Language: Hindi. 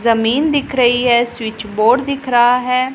जमीन दिख रही है स्विच बोर्ड दिख रहा है।